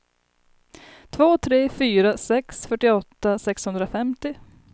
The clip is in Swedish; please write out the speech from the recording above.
två tre fyra sex fyrtioåtta sexhundrafemtio